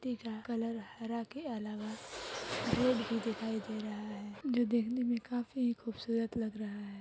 पत्ते का कलर हरा के अलावा रुड भी दिखाई दे रहा है जो देखने में काफी खूबसूरत लग रहा है।